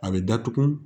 A bɛ datugu